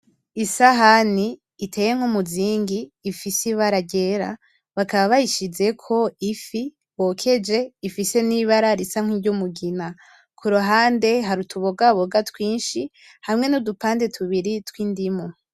Isahani iteye nk'umuzingi ifise ibara ryera bakaba bayishizeko ifi bokeje ifise nibara risa nk'iryumugina kuruhande hari utubogaboga twishi hamwe nudupande tubiri tw'indimu.